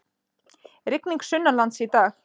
Rigning sunnanlands í dag